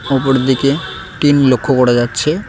অপরদিকে টিন লক্ষ করা যাচ্ছে।